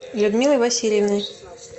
людмилой васильевной